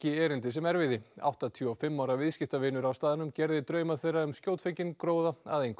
erindi sem erfiði áttatíu og fimm ára viðskiptavinur á staðnum gerði drauma þeirra um skjótfenginn gróða að engu